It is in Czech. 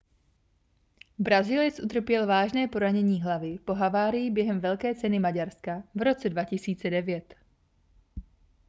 brazilec utrpěl vážné poranění hlavy po havárii během velké ceny maďarska v roce 2009